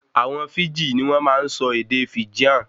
Àwọn Fíjì ní wọn máa ń sọ ède Fijian